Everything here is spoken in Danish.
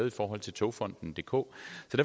i forhold til togfonden dk